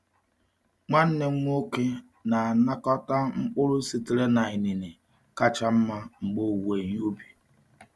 Nwanne m nwoke na-anakọta mkpụrụ sitere na inine kacha mma mgbe owuwe ihe ubi.